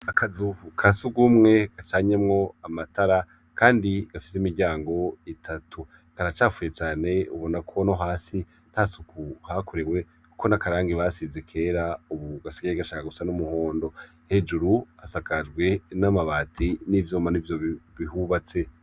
Akazu ka sugumwe gacanyemwo amatara kandi gafise imiryango itatu, karacafuye cane ubona ko no hasi atasuku hakorewe kuko nakarangi basize ubona ko gasigaye Gashaka gusa n'umuhondo, hejuru hasakajwe n'amabati n'ivyuma nivyo bihubatse.